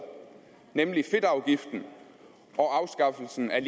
nemlig fedtafgiften og afskaffelsen af